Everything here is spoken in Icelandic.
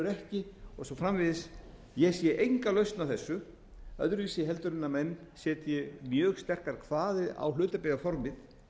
í rekstri og önnur ekki og svo framvegis ég sé enga lausn á þessu öðruvísi en að menn setji mjög sterkar kvaðir á hlutabréfaformið